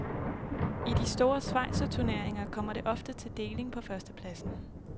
I de store schweizerturneringer kommer det ofte til deling på førstepladsen.